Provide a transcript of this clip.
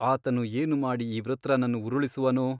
ಆತನು ಏನುಮಾಡಿ ಈ ವೃತ್ರನನ್ನು ಉರುಳಿಸುವನೋ?